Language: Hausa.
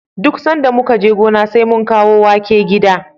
Duk sanda muka je gona, sai mun kawo wake gida.